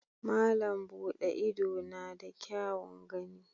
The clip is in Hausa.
Malam Bude Ido na da kyaun gani.